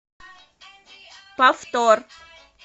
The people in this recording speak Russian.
повтор